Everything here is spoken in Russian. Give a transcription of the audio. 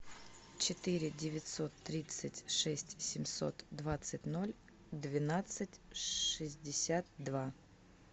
четыре девятьсот тридцать шесть семьсот двадцать ноль двенадцать шестьдесят два